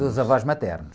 Dos avós maternos.